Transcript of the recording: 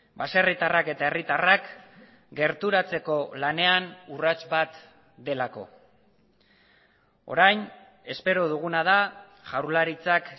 baserritarrak eta herritarrak gerturatzeko lanean urrats bat delako orain espero duguna da jaurlaritzak